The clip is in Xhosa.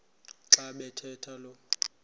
xa bathetha lo